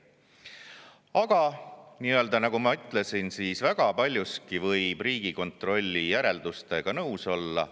Aga nagu ma ütlesin, väga paljuski võib Riigikontrolli järeldustega nõus olla.